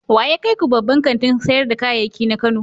Wa ya kai ku babban kantin sayar da kayayyaki na Kano?